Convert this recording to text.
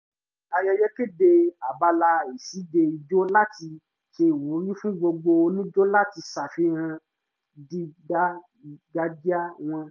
olùdarí ayẹyẹ kéde abala ìṣíde ìjó láti ṣe ìwúrí fún gbogbo onijó láti ṣàfihàn dídáńgájíá wọn